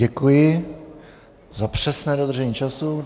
Děkuji za přesné dodržení času.